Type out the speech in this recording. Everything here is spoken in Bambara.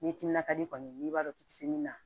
Ni timinan ka di kɔni n'i b'a dɔn k'i ti min na